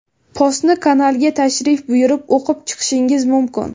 Postni kanalga tashrif buyurib o‘qib chiqishingiz mumkin.